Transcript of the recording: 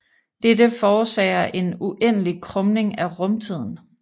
Dette forårsager en uendelig krumning af rumtiden